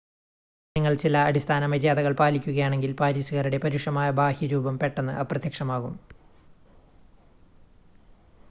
നിങ്ങൾ ചില അടിസ്ഥാന മര്യാദകൾ പാലിക്കുകയാണെങ്കിൽ പാരീസുകാരുടെ പരുഷമായ ബാഹ്യരൂപം പെട്ടെന്ന് അപ്രത്യക്ഷമാകും